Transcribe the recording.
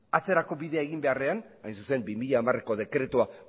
atzerako bidea egin beharrean hain zuzen bi mila hamareko dekretua